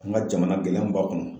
An ka jamana gɛlɛya mun b'a kɔnɔ